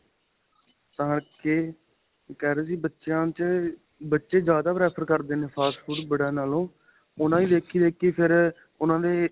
ਤਾਂ ਕੇ ਕਹਿ ਰਹੇ ਬੱਚਿਆ ਚ ਬੱਚੇ ਜਿਆਦਾ prefer ਕਰਦੇ ਨੇ fast food ਬੜਿਆਂ ਨਾਲੋਂ ਉਹਨਾ ਦੀ ਦੇਖੀ ਦੇਖੀਂ ਫ਼ਿਰ ਉਹਨਾ ਦੇ